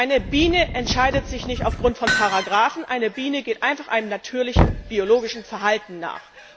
Eine Biene entscheidet sich nicht aufgrund von Paragrafen, eine Biene geht einfach einem natürlichen biologischen Verhalten nach.